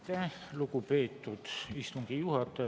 Aitäh, lugupeetud istungi juhataja!